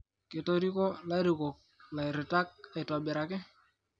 Ketiriko lairukok lairitani aitibiraki